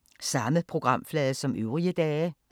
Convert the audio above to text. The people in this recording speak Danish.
Samme programflade som øvrige dage